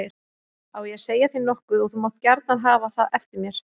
Á ég að segja þér nokkuð og þú mátt gjarna hafa það eftir mér.